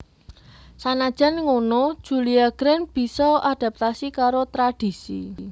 Sanajan ngono Julia Grant bisa adaptasi karo tradhisi